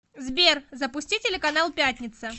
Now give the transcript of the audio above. сбер запусти телеканал пятница